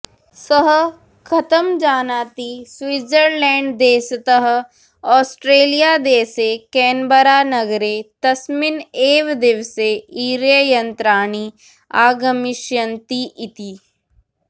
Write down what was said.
सः कथं जानाति स्विट्जरलेण्डदेशतः औस्ट्रेलियादेशे केन्बरानगरे तस्मिन् एव दिवसे ईर्ययन्त्राणि आगमिष्यन्ति इति